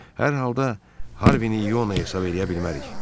Hər halda Harvini İona hesab eləyə bilmərik.